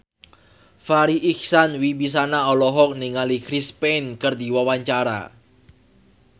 Farri Icksan Wibisana olohok ningali Chris Pane keur diwawancara